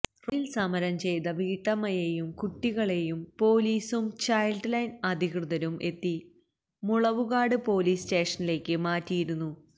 റോഡില് സമരം ചെയ്ത വീട്ടമ്മയെയും കുട്ടികളേയും പൊലീസും ചൈല്ഡ് ലൈന് അധികൃതരും എത്തി മുളവുകാട് പോലീസ് സ്റ്റേഷനിലേക്ക് മാറ്റിയിരുന്നു